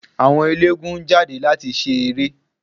Àwọn ẹlẹ́gùn-ún jáde láti ṣe eré.